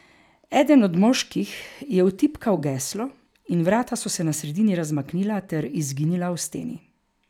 Eden od moških je vtipkal geslo in vrata so se na sredini razmaknila ter izginila v steni.